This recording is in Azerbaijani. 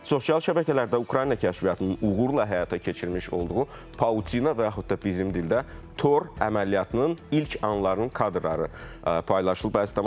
Sosial şəbəkələrdə Ukrayna kəşfiyyatının uğurla həyata keçirmiş olduğu Paunçina və yaxud da bizim dildə Tor əməliyyatının ilk anlarının kadrları paylaşılıb əziz tamaşaçılar.